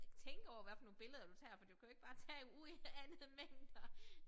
Tænke over hvad for nogle billeder du tager for du kan jo ikke bare tage uanede mængder